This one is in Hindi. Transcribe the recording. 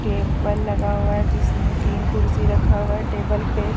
टेबल लगा हुआ है जिसमें तीन कुर्सी रखा हुआ है टेबल पे--